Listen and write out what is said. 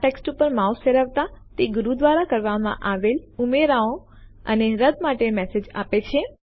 આ ટેક્સ્ટ ઉપર માઉસ ફેરવતા તે ગુરુ દ્વારા કરવામાં આવેલ ઉમેરાઓ અને રદ્દ માટેના મેસેજ આપે છે